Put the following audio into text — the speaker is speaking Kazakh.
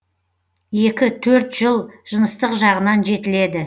екі төрт жыл жыныстық жағынан жетіледі